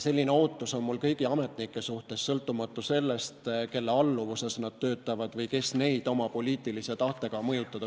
Selline ootus on mul kõigi ametnike suhtes, sõltumata sellest, kelle alluvuses nad töötavad või kes püüavad neid oma poliitilise tahtega mõjutada.